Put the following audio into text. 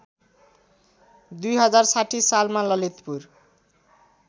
२०६० सालमा ललितपुर